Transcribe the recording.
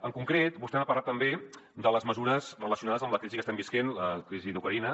en concret vostè m’ha parlat també de les mesures relacionades amb la crisi que estem vivint la crisi d’ucraïna